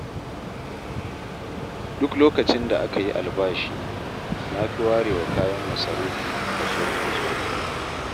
Duk lokacin da aka yi albashi, na fi warewa kayan masarufi kaso mai tsoka.